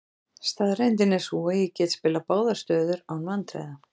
Staðreyndin er sú að ég get spilað báðar stöður án vandræða.